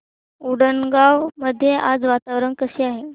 उंडणगांव मध्ये आज वातावरण कसे आहे